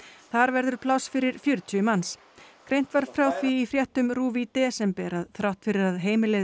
þar verður pláss fyrir fjörutíu manns greint var frá því í fréttum RÚV í desember að þrátt fyrir að heimilið